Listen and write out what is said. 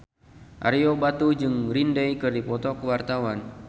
Ario Batu jeung Green Day keur dipoto ku wartawan